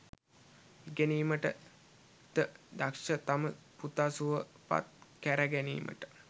ඉගෙනීමට ද දක්ෂ තම පුතා සුවපත් කැර ගැනීමට